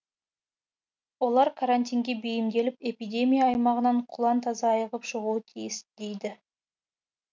олар карантинге бейімделіп эпидемия аймағынан құлан таза айығып шығуы тиіс дейді